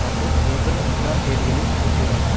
மற்றும் ஏப்ரல் ஒன்றாம் தேதிகளில் கூட்டியுள்ளன